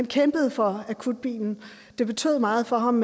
kæmpede for akutbilen det betød meget for ham